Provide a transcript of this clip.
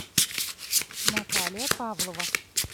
наталья павлова